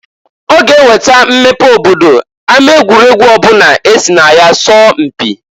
Ọ ga-eweta mmepe obodo ama egwuregwu ọbụla esi na ya sọọ mpị.